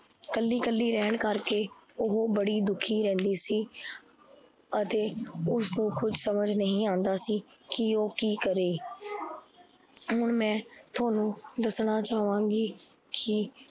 ਕਲਿ ਕਲਿ ਰਹਣ ਕਰਕੇ, ਓਹੋ ਬੜੀ ਦੁਖੀ ਰਹਿੰਦੀ ਸੀ। ਅਤੇ ਉਸਨੂ ਕੁਝ ਸਮਜ ਨਹੀਂ ਆਦਾ ਸੀ। ਕੀ ਓਹ ਕੀ ਕਰੇ ਹੁਣ ਮੈ ਤੁਹਾਨੂੰ ਦੱਸਣਾ ਚਹਾਵਾਂਗੀ ਕੀ